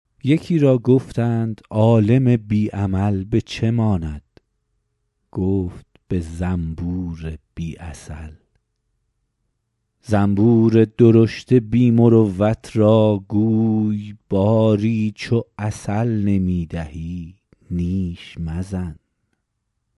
یکی را گفتند عالم بی عمل به چه ماند گفت به زنبور بی عسل زنبور درشت بی مروت را گوی باری چو عسل نمی دهی نیش مزن